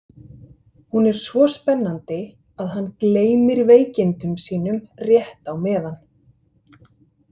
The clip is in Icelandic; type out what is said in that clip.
Hún er svo spennandi að hann gleymir veikindum sínum rétt á meðan.